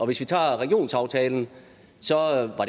vi tager regionsaftalen